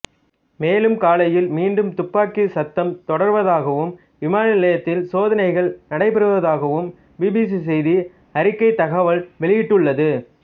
மேலும் காலையில் மீண்டும் துப்பாக்கிச் சத்தம் தொடர்வதாகவும் விமான நிலையத்தில் சோதனைகள் நடைபெறுவதாகவும் பிபிசி செய்தி அறிக்கை தகவல் வெளியிட்டுள்ளது